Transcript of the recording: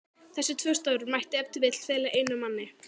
Þessi tvö störf mætti ef til vill fela einum manni.